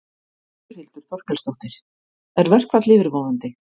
Þórhildur Þorkelsdóttir: Er verkfall yfirvofandi?